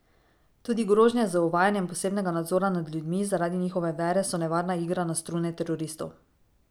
Tudi grožnje z uvajanjem posebnega nadzora nad ljudmi zaradi njihove vere so nevarna igra na strune teroristov.